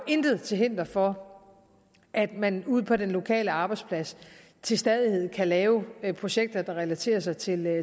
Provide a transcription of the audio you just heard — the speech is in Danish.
intet til hinder for at man ude på den lokale arbejdsplads til stadighed kan lave projekter der relaterer sig til